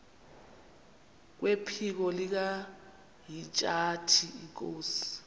kwephiko likahintsathi inkosi